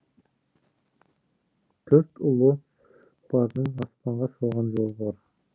төрт ұлы бардың аспанға салған жолы бар